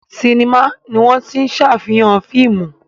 Sinimá ni wọ́n tí ń ṣàfihàn fíìmù